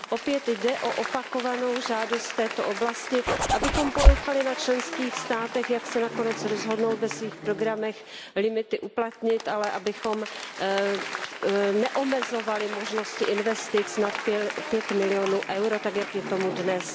Opět jde o opakovanou žádost v této oblasti, abychom ponechali na členských státech, jak se nakonec rozhodnou ve svých programech limity uplatnit, ale abychom neomezovali možnosti investic nad 5 milionů EUR tak, jak je tomu dnes.